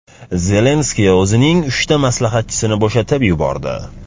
Zelenskiy o‘zining uchta maslahatchisini bo‘shatib yubordi.